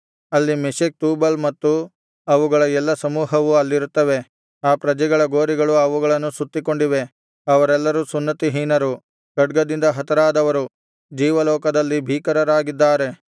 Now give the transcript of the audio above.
ಅಲ್ಲಿ Meshech Tubal ಮತ್ತು ಅವುಗಳ ಎಲ್ಲಾ ಸಮೂಹವು ಅಲ್ಲಿರುತ್ತವೆ ಆ ಪ್ರಜೆಗಳ ಗೋರಿಗಳು ಅವುಗಳನ್ನು ಸುತ್ತಿಕೊಂಡಿವೆ ಅವರೆಲ್ಲರೂ ಸುನ್ನತಿಹೀನರು ಖಡ್ಗದಿಂದ ಹತರಾದವರು ಜೀವಲೋಕದಲ್ಲಿ ಭೀಕರರಾಗಿದ್ದಾರೆ